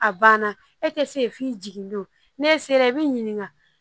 A banna e tɛ se f'i jigin don n'e sera i bɛ ɲininka